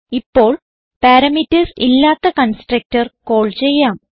ഇപ്പോൾ പാരാമീറ്റർസ് ഇല്ലാത്ത constructor call ചെയ്യാം